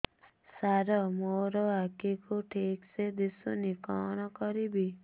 ସାର ମୋର ଆଖି କୁ ଠିକସେ ଦିଶୁନି କଣ କରିବି